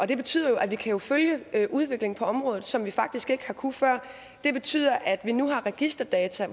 det betyder at vi kan følge udviklingen på området som vi faktisk ikke har kunnet før og det betyder at vi nu har registerdata